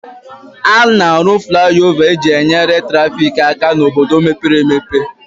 A na-arụ fliova e ji nyere traffic aka n'obodo mepere emepe